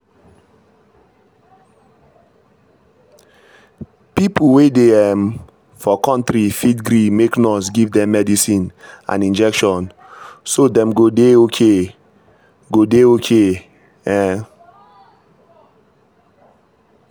people wey dey um for country fit gree make nurse give dem medicine and injection so dem go dey okay. go dey okay. um